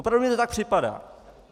Opravdu mi to tak připadá.